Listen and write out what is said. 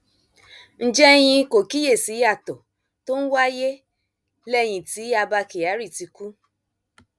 ǹjẹ ẹyin kò kíyèsí ìyàtọ tó ń wáyé lẹyìn tí abba kyari ti kú